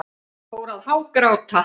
Fór að hágráta.